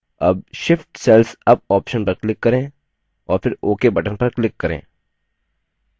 अब shift cells up option पर click करें और फिर ok button पर click करें